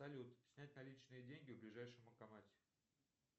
салют снять наличные деньги в ближайшем банкомате